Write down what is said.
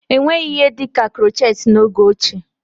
Enweghị ihe dịka krochet n'oge ochie